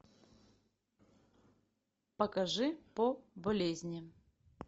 покажи по болезни